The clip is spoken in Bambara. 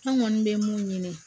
An kɔni bɛ mun ɲini